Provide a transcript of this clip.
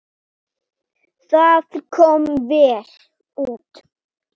Þú varst með honum þar?